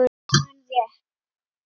Ég mundi rétt.